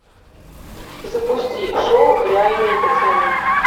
запусти шоу реальные пацаны